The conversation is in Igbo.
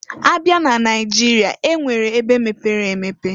Abịa n'Naịjịrịa, e nwere ebe mepere emepe.